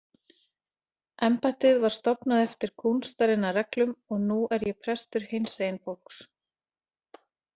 Embættið var stofnað eftir kúnstarinnar reglum og nú er ég prestur hinsegin fólks.